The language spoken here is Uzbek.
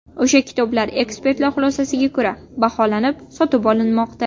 O‘sha kitoblar ekspertlar xulosasiga ko‘ra baholanib, sotib olinmoqda.